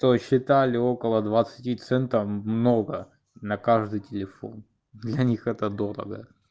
то есть считали около двадцати центов много на каждый телефон для них это дорого